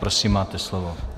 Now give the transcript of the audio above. Prosím, máte slovo.